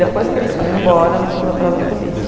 Depois que eles foram embora, nós fomos atrás da polícia.